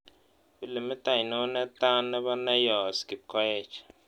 Pilimit ainon netaa ne po neyos' kipkoech